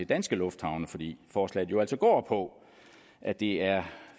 danske lufthavne fordi forslaget jo altså går på at det er